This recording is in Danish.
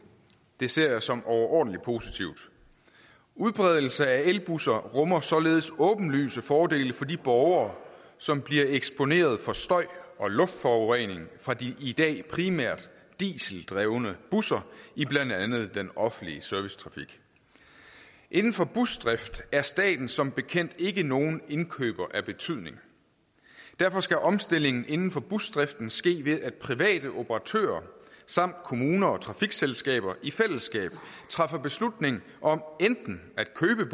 det ser jeg som overordentlig positivt udbredelse af elbusser rummer således åbenlyse fordele for de borgere som bliver eksponeret for støj og luftforurening fra de i dag primært dieseldrevne busser i blandt andet den offentlige servicetrafik inden for busdrift er staten som bekendt ikke nogen indkøber af betydning derfor skal omstillingen inden for busdriften ske ved at private operatører samt kommuner og trafikselskaber i fællesskab træffer beslutning om enten